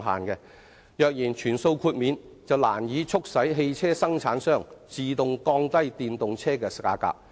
若繼續全數豁免，難以促使汽車生產商自動降低電動車的價格。